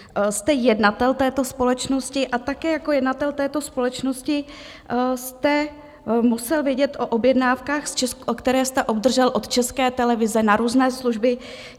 Jste jednatel této společnosti a také jako jednatel této společnosti jste musel vědět o objednávkách, které jste obdržel od České televize na různé služby.